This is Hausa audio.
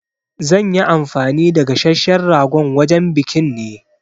Za nyi anfani da gasasshen ragon wajen biƙin ne